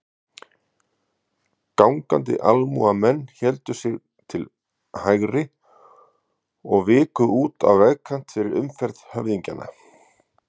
Gangandi almúgamenn héldu sig til hægri og viku út á vegkant fyrir umferð höfðingjanna.